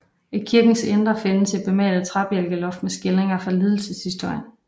I kirkens indre findes et bemalet træbjælkeloft med skildringer fra lidelseshistorien